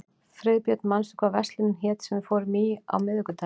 Friðbjörn, manstu hvað verslunin hét sem við fórum í á miðvikudaginn?